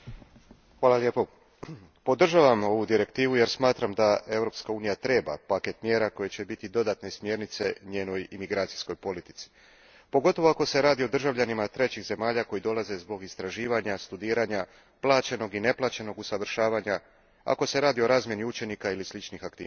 Gospodine predsjedniče, podržavam ovu direktivu jer smatram da Europska unija treba paket mjera koji će biti dodatne smjernice njenoj imigracijskoj politici, pogotovo ako se radi o državljanima trećih zemalja koji dolaze zbog istraživanja, studiranja, plaćenog i neplaćenig usavršavanja, ako se radi o razmjeni učenika ili sličnim aktivnostima.